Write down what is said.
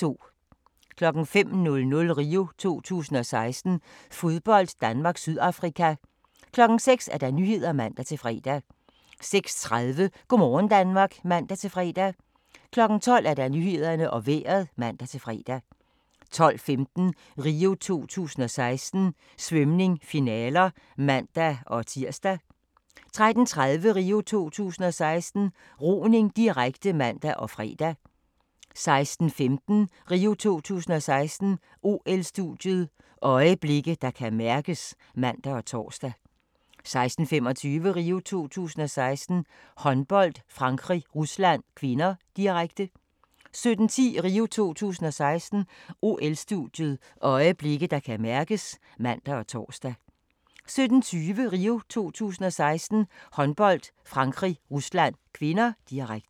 05:00: RIO 2016: Fodbold - Danmark-Sydafrika 06:00: Nyhederne (man-fre) 06:30: Go' morgen Danmark (man-fre) 12:00: Nyhederne og Vejret (man-fre) 12:15: RIO 2016: Svømning - finaler (man-tir) 13:30: RIO 2016: Roning, direkte (man og fre) 16:15: RIO 2016: OL-studiet – øjeblikke, der kan mærkes (man og tor) 16:25: RIO 2016: Håndbold - Frankrig-Rusland (k), direkte 17:10: RIO 2016: OL-studiet – øjeblikke, der kan mærkes (man og tor) 17:20: RIO 2016: Håndbold - Frankrig-Rusland (k), direkte